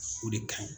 O de ka ɲi